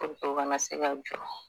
Ko kana se ka jɔ